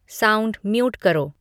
sound mute करो